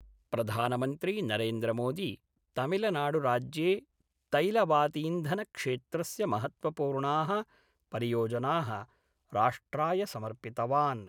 प्रधानमन्त्री नरेन्द्र मोदी तमिलनाडुराज्ये तैलवातीन्धनक्षेत्रस्य महत्वपूर्णाः परियोजना: राष्ट्राय समर्पितवान्।